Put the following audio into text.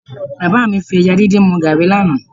Bàbá mi fi ẹja díndín mu gààrí lánàá